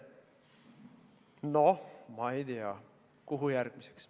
Noh, ma ei tea, kuhu järgmiseks.